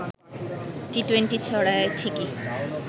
T twenty ছড়ায় ঠিকই